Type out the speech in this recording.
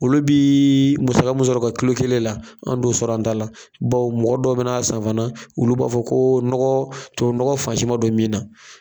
Olu bi muaga mun sɔrɔ u ka kilo kelen la, an t'o sɔrɔ an ta la, bawo mɔgɔ dɔw bɛ na a san fana, olu b'a fɔ ko nɔgɔ tubabu nɔgɔ fansi bɛ min ka